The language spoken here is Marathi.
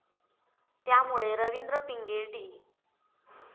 त्यामुळे रवींद्र पिंगे, डी.